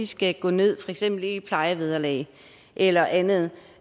skal gå ned i plejevederlag eller andet